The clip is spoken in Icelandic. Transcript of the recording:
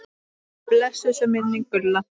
Blessuð sé minning Gullu.